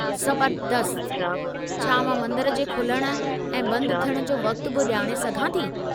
ज़बरदस्त! छा मां मंदर जे खुलण ऐं बंदि थियण जो वक़्तु बि ॼाणे सघां थी?